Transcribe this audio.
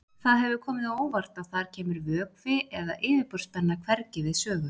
Það hefur komið á óvart að þar kemur vökvi eða yfirborðsspenna hvergi við sögu.